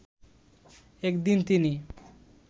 একদিন তিনি